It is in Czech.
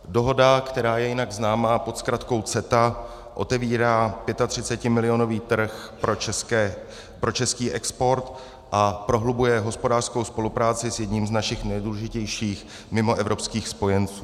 Dohoda, která je jinak známa pod zkratkou CETA, otevírá 35milionový trh pro český export a prohlubuje hospodářskou spolupráci s jedním z našich nejdůležitějších mimoevropských spojenců.